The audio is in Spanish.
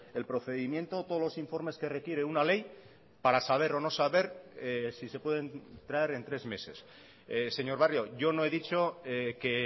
el procedimiento todos los informes que requiere una ley para saber o no saber si se pueden traer en tres meses señor barrio yo no he dicho que